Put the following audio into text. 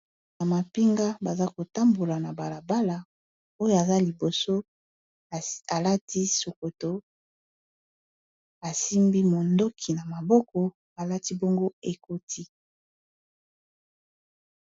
Na mapinga, baza kotambola na balabala. Oyo aza liboso, alati sokoto ; asimbi mondoki na maboko, alati bongo ekoti.